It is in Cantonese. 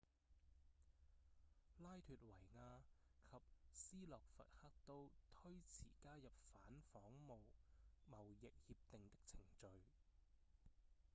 拉脫維亞及斯洛伐克都推遲加入反仿冒貿易協定的程序